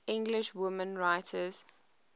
english women writers